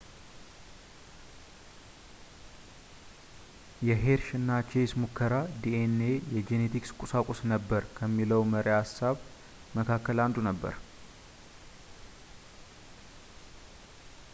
የሄርሽ እና ቼስ ሙከራ ዲኤንኤ የጄኔቲክ ቁሳቁስ ነበር ከሚለው መሪ ሃሳብ መካከል አንዱ ነበር